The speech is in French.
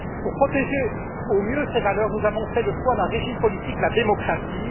Pour protéger au mieux ces valeurs, nous avons fait le choix d'un régime politique, la démocratie.